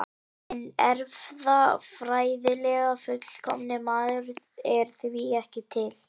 Hinn erfðafræðilega fullkomni maður er því ekki til.